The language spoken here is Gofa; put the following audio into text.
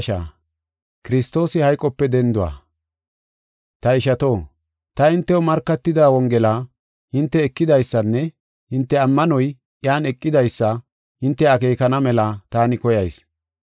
Ta ishato, ta hintew markatida wongela hinte ekidaysanne hinte ammanoy iyan eqidaysa hinte akeekana mela taani koyayis.